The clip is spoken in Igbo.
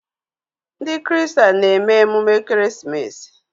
Ndị kristen na-eme emume ekeresimesi.